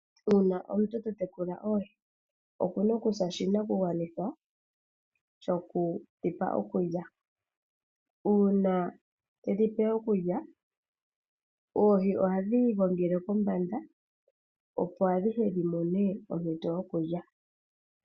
Uuna omuntu to tekula oohi, oku na oku sa oshinakugwanithwa shoku dhi pa okulya. Uuna tedhi pe okulya oohi ohadhi i gongele kombanda opo adhihe dhi mone ompito yokulya.